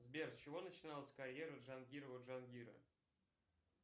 сбер с чего начиналась карьера джангирова джангира